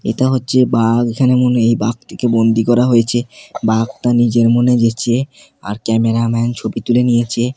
এতা হচ্ছে বাঘ এখানে মনে এই বাঘটিকে বন্দী করা হয়েছে বাঘটা নিজের মনে গেচে আর ক্যামেরা ম্যান ছবি তুলে নিয়েচে।